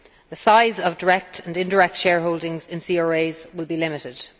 The size of direct and indirect shareholdings in CRAs will be limited.